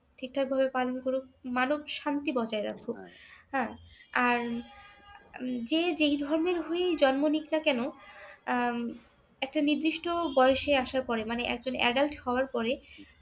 ঠিকঠাকভাবে পালন করুক। মানব শান্তি বজায় রাখুক হ্যাঁ আর যে যেই ধর্মের হয়েই জন্ম নিক না কেন আহ একটা নিদিষ্টি বয়সে আসার পরে মানে একজন adult হবার পরে